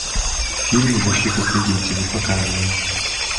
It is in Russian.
фильм защита свидетелей показывай